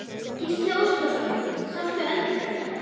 Gísli Óskarsson: Sástu eldingar?